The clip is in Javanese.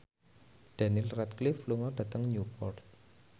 Daniel Radcliffe lunga dhateng Newport